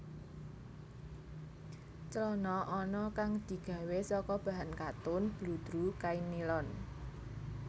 Clana ana kang digawé saka bahan katun bludru kain nilon